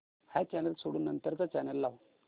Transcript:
हा चॅनल सोडून नंतर चा चॅनल लाव